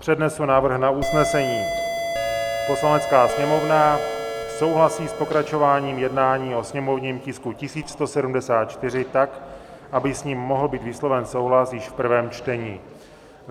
Přednesu návrh na usnesení: "Poslanecká sněmovna souhlasí s pokračováním jednání o sněmovním tisku 1174 tak, aby s ním mohl být vysloven souhlas již v prvém čtení."